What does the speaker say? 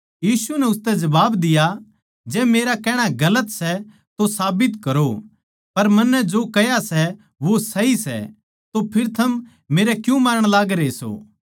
यीशु नै उसतै जबाब दिया जै मेरा कहणा गलत सै तो साबित करो पर मन्नै जो कह्या सै वो सही सै तो फेर थम मेरै क्यूँ मारण लागरे सों